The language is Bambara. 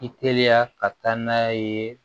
I teliya ka taa n'a ye